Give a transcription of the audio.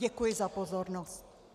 Děkuji za pozornost.